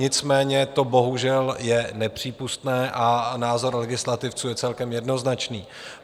Nicméně to bohužel je nepřípustné a názor legislativců je celkem jednoznačný.